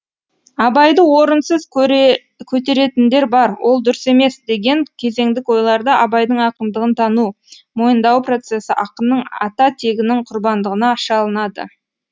абайды орынсыз көтеретіндер бар ол дұрыс емес деген кезеңдік ойларда абайдың ақындығын тану мойындау процесі ақынның ата тегінің құрбандығына шалынады